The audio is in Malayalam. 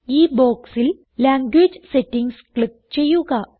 ഈ ബോക്സിൽ ലാംഗ്വേജ് സെറ്റിംഗ്സ് ക്ലിക്ക് ചെയ്യുക